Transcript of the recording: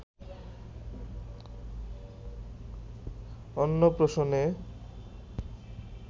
অন্নপ্রাশনে